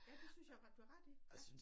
Ja det synes jeg faktisk du har ret i ja